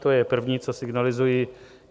To je první, co signalizuji.